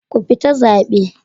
Ku fita zabe.